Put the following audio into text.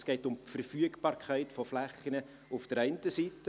Es geht also um die Verfügbarkeit von Flächen auf der einen Seite;